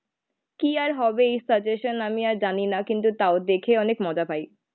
কি আর হবে এই সাজেশন আমি আর জানি না কিন্তু তাও দেখে অনেক মজা পায়.